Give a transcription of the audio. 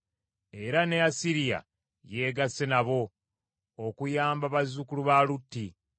Era ne Asiriya yeegasse nabo, okuyamba bazzukulu ba Lutti.